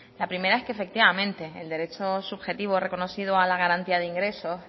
la primera es que efectivamente el derecho subjetivo reconocido a la garantía de ingreso